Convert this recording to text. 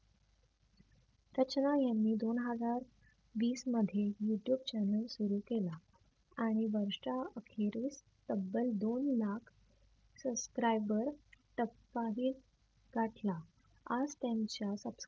रचना यांनी दोन हजार वीसमध्ये youtube channel सुरु केला. आणि वर्षा अखेरीस तब्बल दोन लाख subscriber टप्पाही गाठला आज त्यांच्या टब